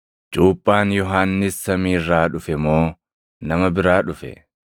Cuuphaan Yohannis samii irraa dhufe moo nama biraa dhufe?”